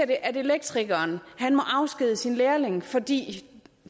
det at elektrikeren må afskedige sin lærling fordi